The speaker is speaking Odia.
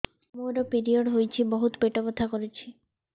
ମୋର ପିରିଅଡ଼ ହୋଇଛି ବହୁତ ପେଟ ବଥା କରୁଛି